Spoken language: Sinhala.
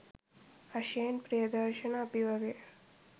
අශේන් ප්‍රියදර්ශන අපි වගේ